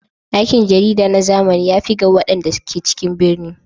Aikin jarida na zamani ya fi ga waɗanda ke cikin birni.